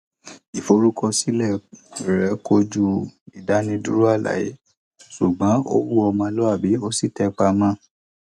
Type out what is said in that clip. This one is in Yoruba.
ìforúkọsílẹ rẹ kojú ìdánidúró àlàyé ṣùgbọn ó huwà ọmọlúwàbí ó sì tẹpa mọ ọn